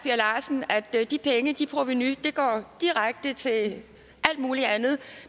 er at de penge det provenu går direkte til alt muligt andet